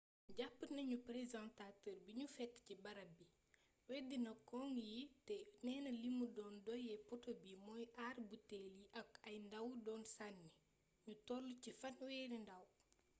jàpp nañu présentateur bi ñu fekk ci barab bi weddina cong yi te neena li mu doon doye poteau bi mooy aar buteel yi ko ay ndaw doon sànni ñu tollu ci fanweeri ndaw